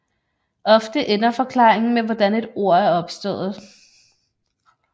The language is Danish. Ofte ender forklaringen med hvordan et ord er opstået